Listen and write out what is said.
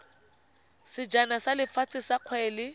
sejana sa lefatshe sa kgwele